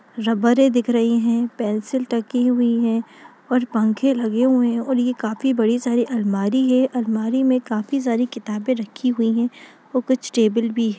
रबरे दिख रही हैं पेंसिल टंगी हुई है और पंखे लगे हुए हैं और ये काफी बड़ी सारी अलमारी है अलमारी में काफी सारी किताबें रखी हुई है वो कुछ टेबुल भी --